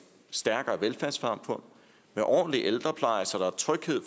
stærkere velfærdssamfund med ordentlig ældrepleje så der er tryghed